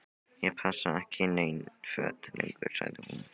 Ég passa ekki í nein föt lengur sagði hún.